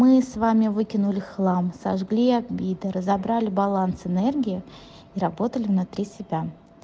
мы с вами выкинули хлам сожгли обиды разобрали баланс энергии и работали внутри себя